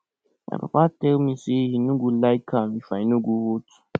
my papa tell me say he no go like am if i no go vote